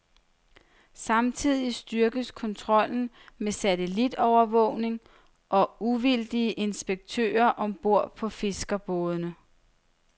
Samtidig styrkes kontrollen med satellitovervågning og uvildige inspektører om bord på fiskerbådene.